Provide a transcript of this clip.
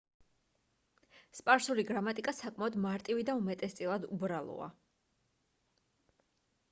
სპარსული გრამატიკა საკმაოდ მარტივი და უმეტესწილად უბრალოა